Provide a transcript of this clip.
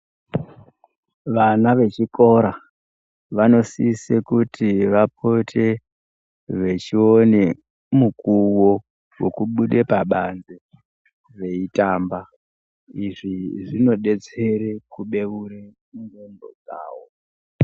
Vana vechikora, vanosise kuti vapote vechione mukuwo wokubude pabanze veitamba. Izvi zvinodetsere kubeure ndxondo dzawo.